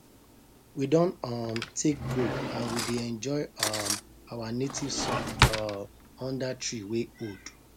we don um take break and we dey enjoy um our native song um under tree wey old